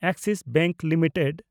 Axis bank limited